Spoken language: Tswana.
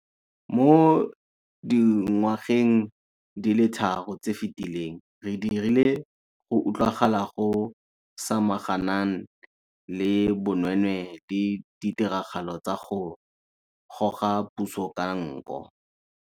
Mo dingwageng di le tharo tse di fetileng re dirile go utlwagala go samaganan le bonweenwee le ditiragalo tsa go goga puso ka nko.